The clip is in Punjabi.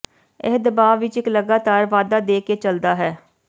ਇਹ ਦਬਾਅ ਵਿੱਚ ਇੱਕ ਲਗਾਤਾਰ ਵਾਧਾ ਦੇ ਕੇ ਚੱਲਦਾ ਹੈ